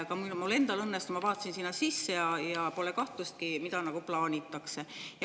Ka mul endal õnnestus sinna sisse vaadata ja pole kahtlustki, mida plaanitakse.